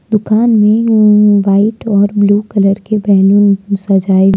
दुकान में व्हाइट और ब्लू कलर के बैलून से सजाए--